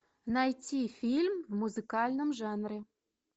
найти фильм в музыкальном жанре